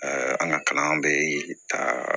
an ka kalan bɛ taa